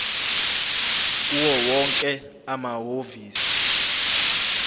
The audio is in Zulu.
kuwo wonke amahhovisi